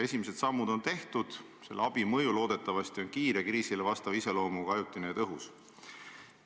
Esimesed sammud on tehtud, selle abi mõju loodetavasti on kiire, kriisile vastavalt ajutise iseloomuga ja tõhus.